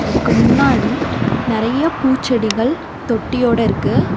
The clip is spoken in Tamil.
அதுக்கு முன்னாடி நெறையா பூச்செடிகள் தொட்டியோட இருக்கு.